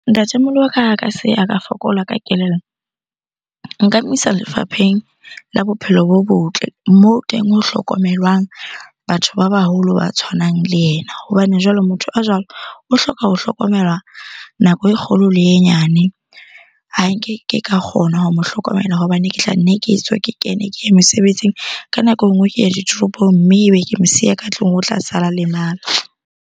Ntatemoholo wa ka ha ka se a fokola ka kelello, nka mo isa lefapheng la bophelo bo botle moo teng ho hlokomelwang batho ba baholo ba tshwanang le ena. Hobane jwale motho a jwalo o hloka ho hlokomelwa nako e kgolo le e nyane. Ha nke ke ka kgona ho mo hlokomela hobane ke tla nne ke tswe ke kene, ke ye mosebetsing. Ka nako e nngwe ke ya ditoropong mme ebe ke mo siya ka tlung, o tla sala lemala.